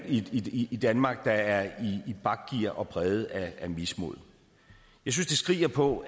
i i danmark der er i bakgear og præget af mismod jeg synes det skriger på